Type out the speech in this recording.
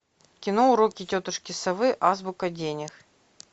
кино уроки тетушки совы азбука денег